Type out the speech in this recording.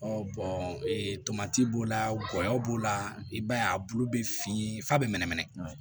tomati b'o la gɔyɔ b'o la i b'a ye a bulu bɛ fin fa bɛ mɛnɛmɛnɛ